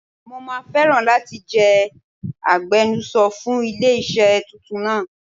Mo máa fẹ́ràn láti jẹ́ agbenuso fún ilé iṣẹ́ tuntun náà.